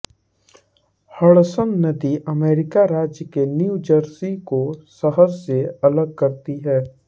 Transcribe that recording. Hudson नदी अमेरिकी राज्य न्यू जर्सी को शहर से अलग करती है